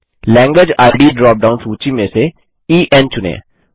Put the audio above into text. language ID drop down सूची में से ईएन चुनें